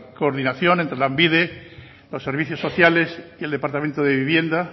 coordinación entre lanbide los servicios sociales y el departamento de vivienda